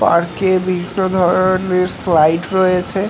park এ বিভিন্ন ধরনের স্লাইড রয়েছে--